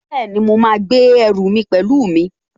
Bẹ́ẹ̀ni, mo máa gbé ẹrù mi pẹ̀lú mi